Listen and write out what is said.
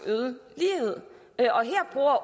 ligheden